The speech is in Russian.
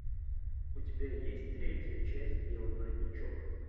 у тебя есть третья часть белый воротничок